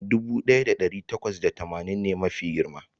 dubu daya da dari takwas da tamanin ne mafi girma